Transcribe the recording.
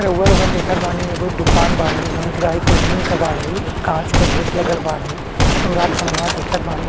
रउवा लोगन देखत बानी एगो दुकान बाड़े जोन ड्राई क्लीनिंग के बाड़े काँच का गेट लगल बाड़े और आप समनवा देखत बानी --